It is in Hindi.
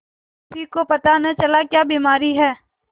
किसी को पता न चला क्या बीमारी है